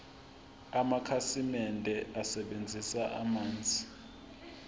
amakhasimende asebenzisa amanzi